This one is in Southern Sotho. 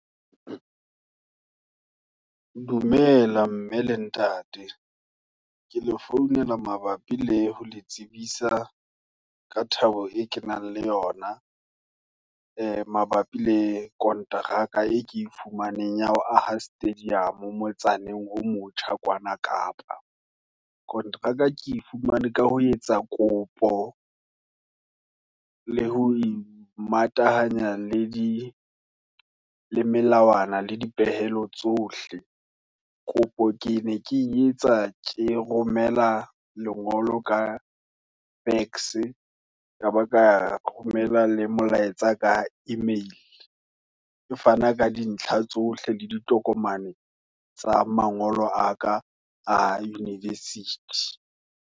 Dumela mme le ntate, ke le founela mabapi le ho le tsebisa, ka thabo e kenang, le yona, e mabapi le konteraka, e ke e fumaneng, ya ho aha Stadium, motsaneng o motjha kwana kapa. Kontraka ke e fumanwe, ka ho etsa kopo, le ho imatahanye, le di le melawana, le dipehelo tsohle. Kopo ke ne ke etsa, ke romela lengolo, ka fax, kaba ka romela le molaetsa ka email. Kefana ka dintlha tsohle, le ditokomane tsa mangolo a ka a university.